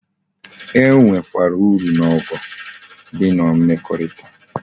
E nwe kwara uru na ogho m di na mmekorita